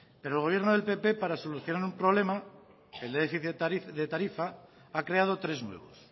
pero el gobierno del pp para solucionar un problema el de déficit de tarifa ha creado tres nuevos